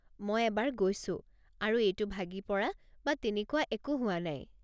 মই এবাৰ গৈছো, আৰু এইটো ভাগি পৰা বা তেনেকুৱা একো হোৱা নাই।